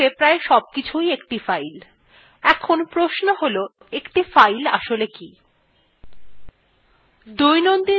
linuxa প্রায় সবকিছুই একটি file in প্রশ্ন হল একটি file আসলে কি